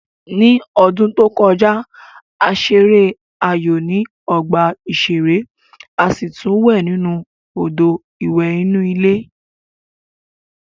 Ní ọdún tó kọjá, a ṣeré aayò ní ọgbà ìṣeré a sì tún wẹ̀ nínú Odò ìwẹ̀ inú ilé